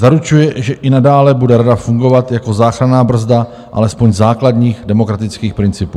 Zaručuje, že i nadále bude rada fungovat jako záchranná brzda alespoň základních demokratických principů.